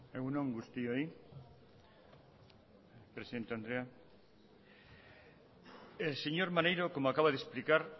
egun on guztioi presidente andrea el señor maneiro como acaba de explicar